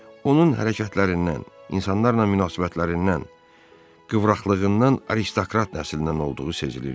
Onun hərəkətlərindən, insanlarla münasibətlərindən, qıvraqlığından aristokrat nəslindən olduğu sezilirdi.